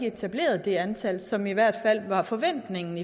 etableret det antal som i hvert fald var forventningen